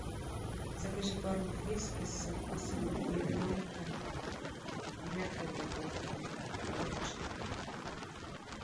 закажи корм фрискис со вкусом ягненка в мягкой упаковке двадцать штук